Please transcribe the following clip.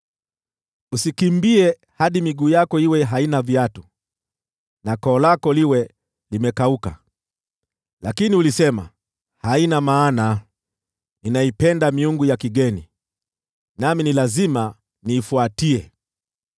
Usikimbie hadi miguu yako iwe haina viatu, na koo lako liwe limekauka. Lakini ulisema, ‘Haina maana! Ninaipenda miungu ya kigeni, nami lazima niifuatie.’